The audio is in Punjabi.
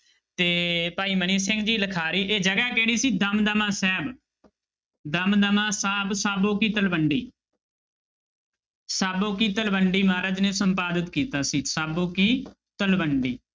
ਤੇ ਭਾਈ ਮਨੀ ਸਿੰਘ ਜੀ ਲਿਖਾਰੀ ਇਹ ਜਗ੍ਹਾ ਕਿਹੜੀ ਸੀ ਦਮਦਮਾ ਸਾਹਿਬ ਦਮਦਮਾ ਸਾਹਿਬ ਸਾਬੋ ਕੀ ਤਲਵੰਡੀ ਸਾਬੋ ਕੀ ਤਲਵੰਡੀ ਮਹਾਰਾਜ ਨੇ ਸੰਪਾਦਤ ਕੀਤਾ ਸੀ ਸਾਬੋ ਕੀ ਤਲਵੰਡੀ।